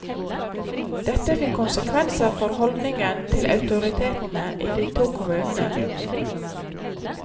Dette fikk konsekvenser for holdningen til autoritetene i de to kommunene.